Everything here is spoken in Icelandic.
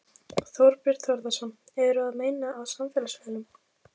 Þorbjörn Þórðarson: Eru að meina á samfélagsmiðlum?